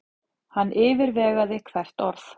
Hann yfirvegaði hvert orð.